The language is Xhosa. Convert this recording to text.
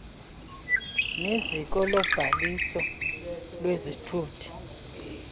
neziko lobhaliso lwezithuthi